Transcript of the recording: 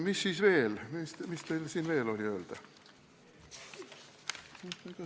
Mis siis teil veel öelda oli?